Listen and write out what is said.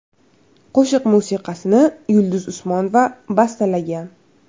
Qo‘shiq musiqasini Yulduz Usmonova bastalagan.